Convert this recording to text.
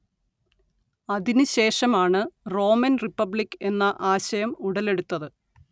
അതിനു ശേഷം ആണ് റോമൻ റിപ്പബ്ലിക്ക് എന്ന ആശയം ഉടലെടുത്തത്